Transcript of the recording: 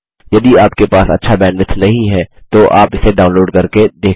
यदि आपके पास अच्छा बैंडविड्थ नहीं है तो आप इसे डाउनलोड करके देख सकते हैं